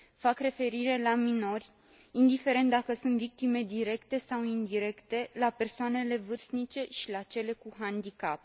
Fac referire la minori, indiferent dacă sunt victime directe sau indirecte, la persoanele vârstnice și la cele cu handicap.